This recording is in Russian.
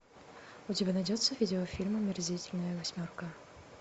у тебя найдется видеофильм омерзительная восьмерка